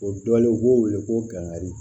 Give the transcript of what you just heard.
O dɔ ye u b'o wele ko gagadi